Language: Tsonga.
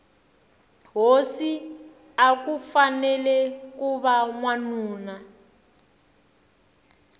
hosi akufanele kuva wanuna